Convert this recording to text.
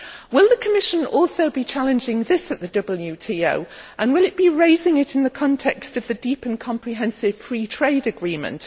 Will the Commission also be challenging this at the WTO and will it be raising it in the context of the deep and comprehensive free trade agreement?